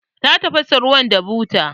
Ta tafasa ruwan da buta.